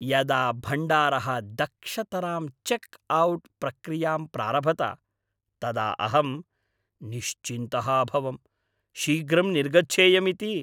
यदा भण्डारः दक्षतरां चेक् औट् प्रक्रियाम् प्रारभत तदा अहम् निश्चिन्तः अभवम्, शीघ्रं निर्गच्छेयम् इति।